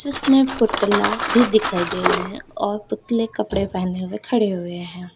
जिसमें पुतला भी दिखाई दे रहे हैं और पुतले कपड़े पहने हुए खड़े हुए हैं।